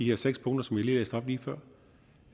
her seks punkter som jeg læste op lige før